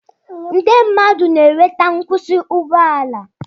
Ndị mmadụ na-enweta nkwụsị ụgbọ ala